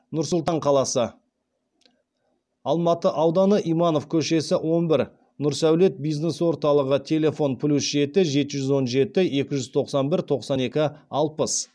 нұр сұлтан қаласы алматы ауданы иманов көшесі он бір нұрсәулет бизнес орталығы телефон плюс жеті жеті жүз он жеті екі жүз тоқсан бір тоқсан екі алпыс